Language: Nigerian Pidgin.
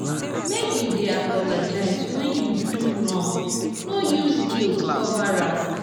make you dey apologize wen you do wrong no use guilt cover am.